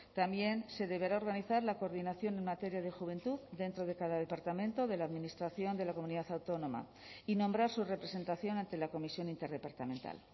también se deberá a organizar la coordinación en materia de juventud dentro de cada departamento de la administración de la comunidad autónoma y nombrar su representación ante la comisión interdepartamental